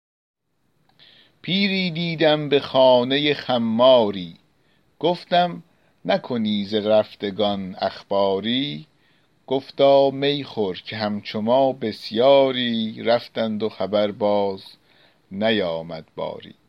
پیری دیدم به خانه خماری گفتم نکنی ز رفتگان اخباری گفتا می خور که همچو ما بسیاری رفتند و خبر باز نیامد باری